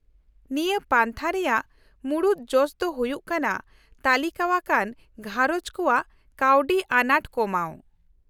-ᱱᱤᱭᱟᱹ ᱯᱟᱱᱛᱷᱟ ᱨᱮᱭᱟᱜ ᱢᱩᱲᱩᱫ ᱡᱚᱥ ᱫᱚ ᱦᱩᱭᱩᱜ ᱠᱟᱱᱟ ᱛᱟᱹᱞᱤᱠᱟᱣᱟᱠᱟᱱ ᱜᱷᱟᱸᱨᱚᱡᱽ ᱠᱚᱣᱟᱜ ᱠᱟᱹᱣᱰᱤ ᱟᱸᱱᱟᱴ ᱠᱚᱢᱟᱣ ᱾